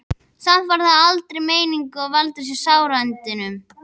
Samt var það aldrei meiningin að valda þér sárindum.